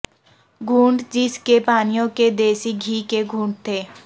گھونٹ جس کے پانیوں کے دیسی گھی کے گھونٹ تھے